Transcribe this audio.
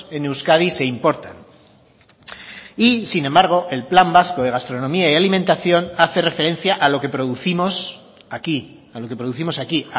en euskadi se importan y sin embargo el plan vasco de gastronomía y alimentación hace referencia a lo que producimos aquí a lo que producimos aquí